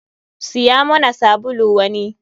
Siya muna sabulu wani.